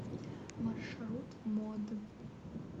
маршрут мод